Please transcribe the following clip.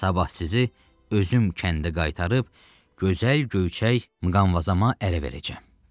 Sabah sizi özüm kəndə qaytarıb gözəl göyçək müqamvazama ərə verəcəm.